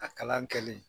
A kalan kɛli